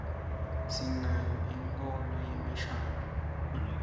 sinayo imkulo yemishaduo